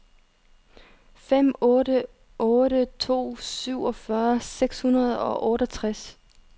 fem otte otte to syvogfyrre seks hundrede og toogtres